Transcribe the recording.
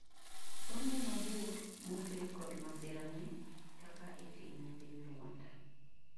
somo mabor mokeli kod masira ni ; kaka itime piny Rwanda